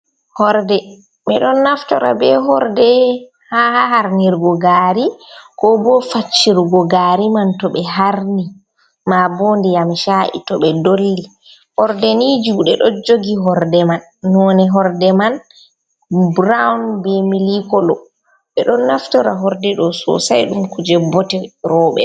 Horde ɓe ɗon naftora be horde ha harnirgo gari, ko bo faccirgo gari man to ɓe harni ma bonde yamca’i to ɓe dolli horde ni jude ɗo jogi horde man none horde man brown, be mil kolo, ɓe ɗo naftora horde ɗo sosai ɗum kuje bote roɓe.